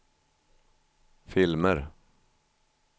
filmer